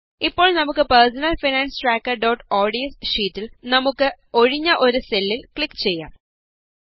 ഇപ്പോള് നമുക്ക് personal finance ട്രാക്കര്ods ഷീറ്റില് നമുക്ക് ഒഴിഞ്ഞ ഒരു സെല്ലില് ക്ലിക് ചെയ്യാം